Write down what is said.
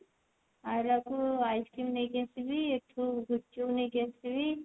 ଆଇଲା ବେଳକୁ ice cream ନେଇକି ଆସିବି ଏଠୁ ଗୁପଚୁପ୍ ନେଇକି ଆସିବି